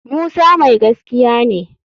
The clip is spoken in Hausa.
Musa mai gaskiya ne